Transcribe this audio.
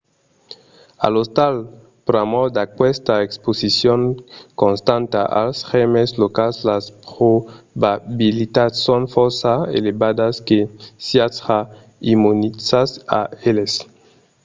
a l'ostal pr'amor d’aquesta exposicion constanta als gèrmes locals las probabilitats son fòrça elevadas que siatz ja immunizats a eles